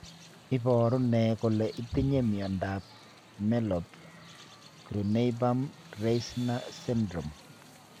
Iporu ne kole itinye miondap Merlob Grunebaum Reisner syndrome?